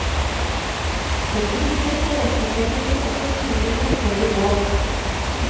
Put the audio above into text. For grupper tilrettelegger vi også turer med større båt.